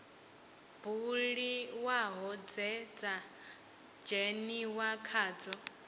buliwaho dze dza dzheniwa khadzo